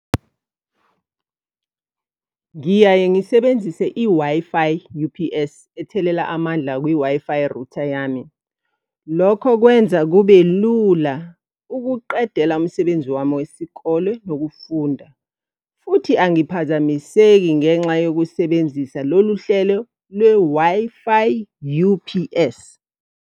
Ngiyaye ngisebenzise i-Wi-Fi U_P_S, ethelela amandla kwi-Wi-Fi router yami. Lokho kwenza kube lula ukuqedela umsebenzi wami wesikole nokufunda. Futhi angiphazamiseki ngenxa yokusebenzisa lolu hlelo lwe-Wi-Fi U_P_S.